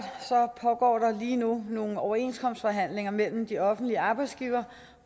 pågår der lige nu nogle overenskomstforhandlinger mellem de offentlige arbejdsgivere